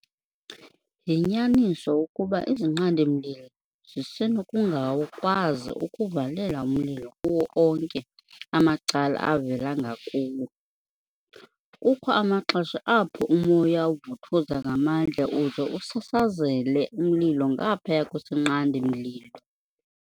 Yinyaniso ukuba izinqandi-mlilo zisenokungakwazi ukuvalela umlilo kuwo onke amacala ovela ngakuwo. Kukho amaxesha apho umoya uvuthuza ngamandla uze usasazele umlilo ngaphaya kwesinqandi-mlilo.